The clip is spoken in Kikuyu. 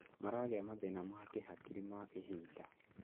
maragĩa mathĩna ma kĩhakiri ma ihinda